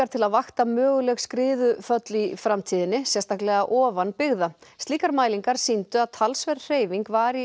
til að vakta möguleg skriðuföll í framtíðinni sérstaklega ofan byggða slíkar mælingar sýndu að talsverð hreyfing var í